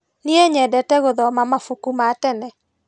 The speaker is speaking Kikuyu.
Niĩ nyendete gũthoma mabuku ma tene.